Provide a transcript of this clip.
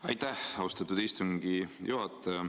Aitäh, austatud istungi juhataja!